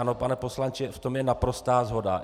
Ano, pane poslanče, v tom je naprostá shoda.